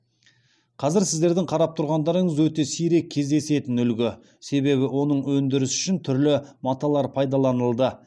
қазір сіздердің қарап тұрғандарыңыз өте сирек кездесетін үлгі себебі оның өндірісі үшін түрлі маталар пайдаланылды